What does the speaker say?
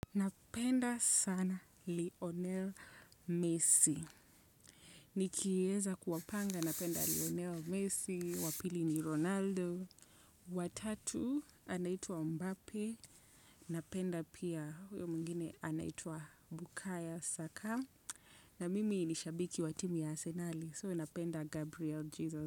Napenda sana Lionel. Messi. Nikieza kuwapanga napenda Lionel Messi, wpili ni Ronaldo. Watatu anaitwa Mbappe. Napenda pia huyo mwingine anaitua Bukaya Saka. Na mimi ni shabiki wa timu ya Arsenali. So napenda Gabriel Jesus.